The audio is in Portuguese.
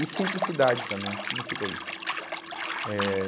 E simplicidade também, significa isso. Eh